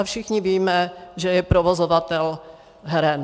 A všichni víme, že je provozovatel heren.